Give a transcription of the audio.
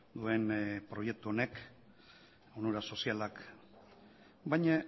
duen proiektu honek onura sozialak baina